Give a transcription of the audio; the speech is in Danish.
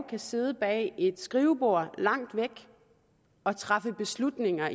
kan sidde bag et skrivebord langt væk og træffe beslutninger